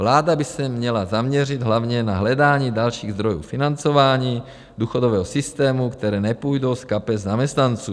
Vláda by se měla zaměřit hlavně na hledání dalších zdrojů financování důchodového systému, které nepůjdou z kapes zaměstnanců.